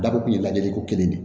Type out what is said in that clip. Dabɔ kun ye lajɛliko kelen de ye